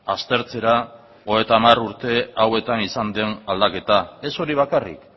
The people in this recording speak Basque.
aztertzera hogeita hamar urte hauetan izan den aldaketa ez hori bakarrik